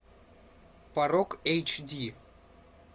порок эйч ди